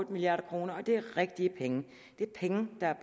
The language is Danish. milliard kroner og det er rigtige penge det er penge der er